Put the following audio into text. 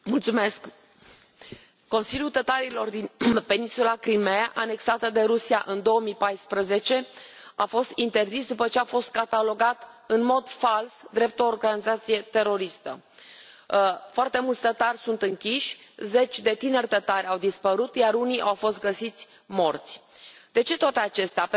Doamnă președintă, Consiliul tătarilor din peninsula Crimeea, anexată de Rusia în 2014, a fost interzis după ce a fost catalogat, în mod fals, drept o organizație teroristă. Foarte mulți tătari sunt închiși, zeci de tineri tătari au dispărut, iar unii au fost găsiți morți. De ce toate acestea?